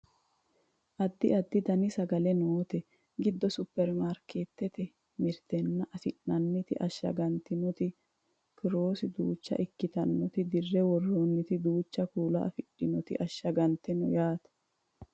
addi addi dani sagalla noote giddo supperimarkeettete mirtenni afi'nanniti ashshagantinoti kiirose duucha ikitinoti dirre worroonniti duucha kuula afidhinoti ashshagante no yaate